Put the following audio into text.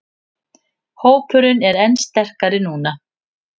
Hópurinn er enn sterkari núna